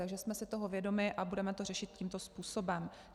Takže jsme si toho vědomi a budeme to řešit tímto způsobem.